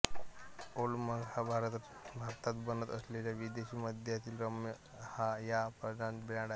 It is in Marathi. ओल्ड मंक हा भारतात बनत असलेला विदेशी मद्यातील रम या प्रकारचा ब्रॅन्ड आहे